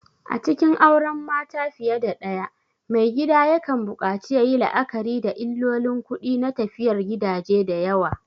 A cikin auren mata fiye da ɗaya, maigida yakan buƙaci yayi la'akari da illolin kuɗi na tafiyar gidaje da yawa.